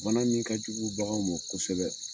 Bana min ka jugu baganw ma kosɛbɛ